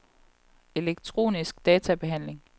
elektronisk databehandling